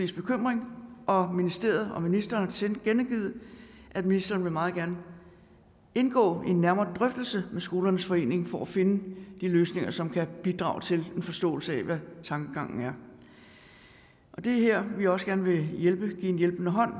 bekymring og ministeriet og ministeren har tilkendegivet at ministeren meget gerne vil indgå i en nærmere drøftelse med skolernes forening for at finde de løsninger som kan bidrage til en forståelse af hvad tankegangen er det er her vi også gerne vil give en hjælpende hånd